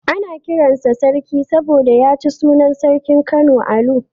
Ana kiran sa Sarki ne saboda ya ci sunan sarkin Kano Alu.